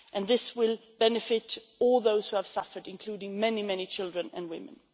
and this will benefit all those who have suffered including many children and women.